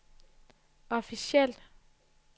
officielt